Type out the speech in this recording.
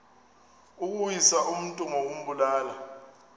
ukuwisa umntu ngokumbulala